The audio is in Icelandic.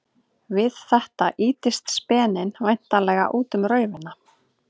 Við þetta ýtist speninn væntanlega út um raufina.